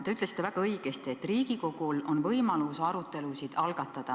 Te ütlesite väga õigesti, et Riigikogul on võimalus arutelusid algatada.